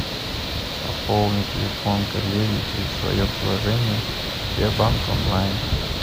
пополни телефон коллеги через свое приложение сбербанк онлайн